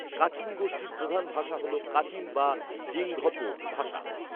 Kachin গোষ্ঠীর প্রধান ভাষা হলো কাচিন বা জিঙ্ঘপো ভাষা